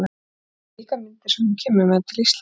Og það eru slíkar myndir sem hún kemur með til Íslands.